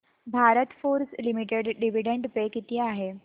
Bharat Forge limited dividend pay किती आहे